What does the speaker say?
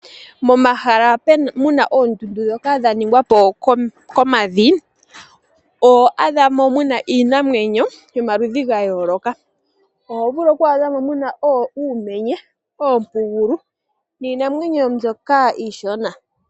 Momahala muna oondundu ndhoka dhaningwa po komavi, ohamu adhika iinamwenyo yayooloka. Oho vulu kwaadha mo muna uumenye, oompugulu niinamwenyo mbyoka iishona.